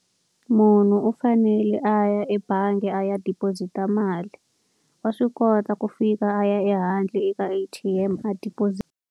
Munhu u fanele a ya ebangi a ya deposit-a. Mali wa swi kota ku fika a ya ehandle eka A_T_M a deposit.